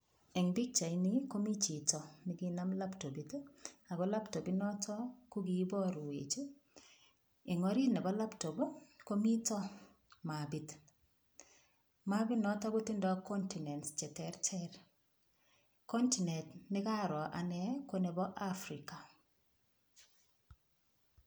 Eng pikchaini komi chito ne kinam laptopit ii, ako laptop inito ko kiborwech ii, eng orit ne bo laptop ii, komito mapit, mapi noto kotindoi continents che terter, continent nekaroo ane ko nebo Africa.